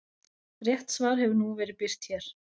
Rétt svar hefur nú verið birt hér.